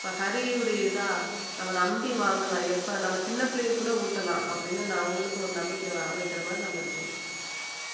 இப்ப ஹரியுடையதா நம்ம நம்பி வாங்கலாம் எப்ப நம்ம சின்ன பிள்ளைக்கு கூட ஊட்டலாம் அப்படீன்னு நான் அவங்களுக்கு ஒரு நம்பிக்கை வர வைக்கிற மாதிரி நம்ம இருக்கணும்